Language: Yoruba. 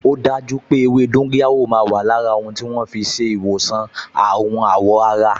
O daju pé ewé dóńgóyárò máa wà lára ohun tí wọ́n fi ń ṣe ìwòsàn àrùn àwọ̀ ara